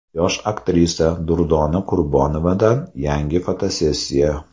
Yosh aktrisa Durdona Qurbonovadan yangi fotosessiya.